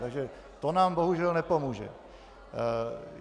Takže to nám bohužel nepomůže.